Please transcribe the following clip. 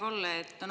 Hea Kalle!